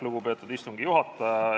Lugupeetud istungi juhataja!